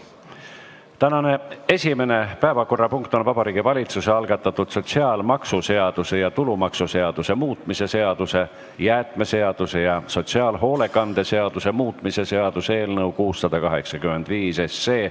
Tänane esimene päevakorrapunkt on Vabariigi Valitsuse algatatud sotsiaalmaksuseaduse ja tulumaksuseaduse muutmise seaduse, jäätmeseaduse ja sotsiaalhoolekande seaduse muutmise seaduse eelnõu 685.